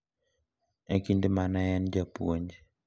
E kinde ma ne en japuonj.